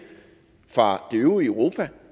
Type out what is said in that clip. fra det øvrige europa